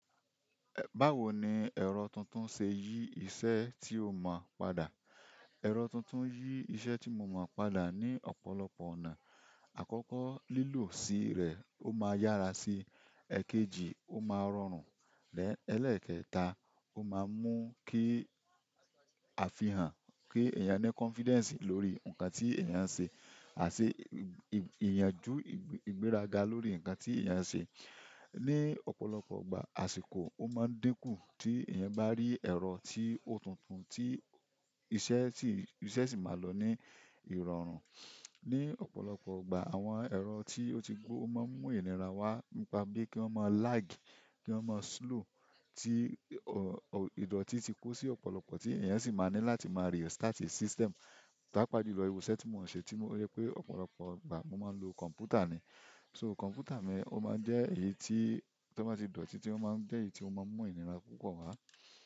Báwo ni ẹ̀rọ tuntun ṣe yí iṣẹ́ tí o mọ̀ padà? Ẹ̀rọ tuntun yí iṣẹ́ tí mo mọ̀ padà ní ọ̀pọ̀lọpọ̀ ọ̀nà. Àkọ́kọ́ lílọ̀ sí rẹ̀, ó máa yára sí i. Ẹ̀kejì, ó máa rọrùn. Lẹ́ẹ̀ elekẹta, ó máa mú kí a fihàn, kí ẹ̀yàn ní confidence lórí nǹkan tí ẹ̀yàn ń ṣe àti ìyànjú ìgbéraga lórí nǹkan tí ẹ̀yàn ń ṣe. Ni ọ̀pọ̀lọpọ̀ ìgbà àsìkò o maa n diku ti eyan ba ri ero ti o tuntun ti iṣẹ́ si maa lo ni irọrun. Ní ọ̀pọ̀lọpọ̀ ọgbà, àwọn ẹ̀rọ tí ó ti gbó máa ń mú ìnira wá nípa bí kí wọ́n máa lag, kí wọ́n máa slow, tí ìdọ̀tí ti kó sí ọ̀pọ̀lọpọ̀ tí ẹ̀yàn sì máa ní láti máa restart system. Pàápàá julọ ìṣẹ́ tí mò ń ṣe tí mo rẹ́ pé ọ̀pọ̀lọpọ̀ ọgbà mó máa ń lo kọ̀m̀pútà ni. So kọ̀m̀pútà mi, ó máa jẹ́ èyí tí tí wọ́n bá ti dọ̀títí, ó máa jẹ́ èyí tí ó máa ń mú ìnira púpọ̀ wá.